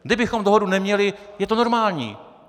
Kdybychom dohodu neměli, je to normální.